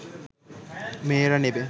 মেয়েরা নেবে